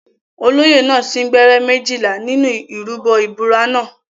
Olóyè náà sín gbẹ́rẹ́ méjìlá nínú ìrúbọ ìbúra náà.